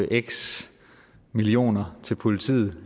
x millioner til politiet